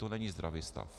To není zdravý stav.